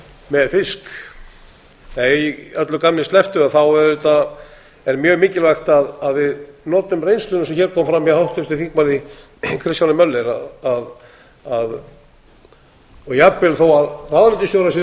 með fisk að öllu gamni slepptu auðvitað er mjög mikilvægt að við notum reynsluna sem hér kom fram hjá háttvirtum þingmanni kristjáni möller og jafnvel þó ráðuneytisstjórar séu